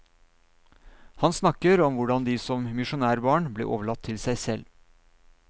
Han snakker om hvordan de som misjonærbarn ble overlatt til seg selv.